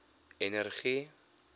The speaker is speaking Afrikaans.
energie